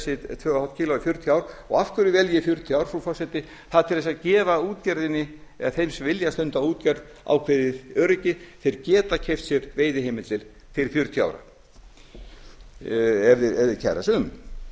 og hálft kílógrömm í fjörutíu ár og af hverju vel ég fjörutíu ár frú forseti það er til að gefa útgerðinni eða þeim sem vilja stunda útgerð ákveðið öryggi þeir geta keypt sér veiðiheimildir til fjörutíu ára ef þeir kæra sig